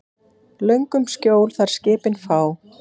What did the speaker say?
Löngum skjól þar skipin fá.